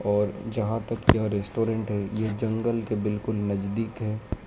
और जहां तक यह रेस्टोरेंनट है ये जंगल के बिल्कुल नजदीक है।